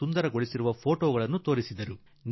ಅವರು ಅಲಿಘಡ ರೈಲ್ವೆ ನಿಲ್ದಾಣದ ಸೌಂದರ್ಯೀಕರಣ ಮಾಡಿದ್ದಾರೆ